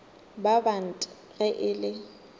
ba bant ge e le